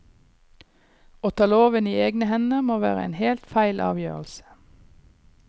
Å ta loven i egne hender må være en helt feil avgjørelse.